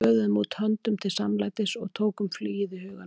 Við böðuðum út höndum til samlætis- og tókum flugið í huganum.